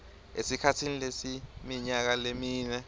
esikhatsini lesiminyaka lemine